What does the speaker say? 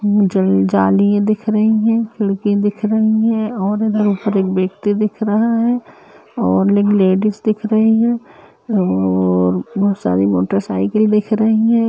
अम्म ज-जालियाँ दिख रही हैं लड़कियाँ दिख रहीं हैं और यहाँ एक व्यक्ति दिखा रहा है और लेडिज दिख रही हैं और बहोत सारी मोटरसाइकिल दिख रही हैं।